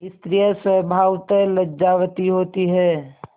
स्त्रियॉँ स्वभावतः लज्जावती होती हैं